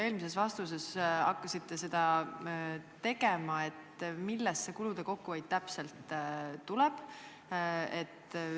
Te eelmises vastuses juba hakkasite seda tegema, aga millest see kulude kokkuhoid täpselt tuleb?